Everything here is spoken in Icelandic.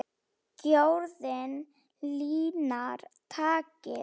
Gjörðin linar takið.